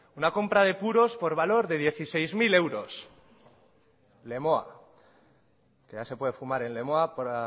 una compra de puros por valor de dieciséis mil euros lemoa que ya se puede fumar en lemoa para